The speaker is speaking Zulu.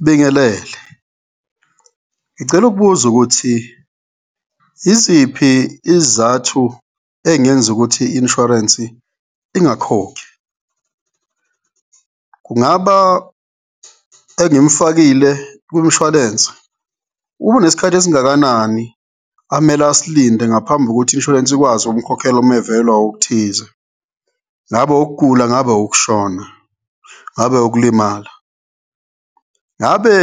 Ngibingelele, ngicela ukubuza ukuthi yiziphi izizathu ey'ngenza ukuthi i-insurance-i ingakhokhi? Kungaba engimfakile kwimishwalense unesikhathi esingakanani amele asilinde ngaphambi kokuthi i-insurance ikwazi ukumkhokhela uma evelelwa okuthize, ngabe ukugula, ngabe ukushona, ngabe ukulimala? Ngabe